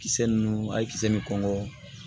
Kisɛ ninnu a ye kisɛ ni kɔngɔ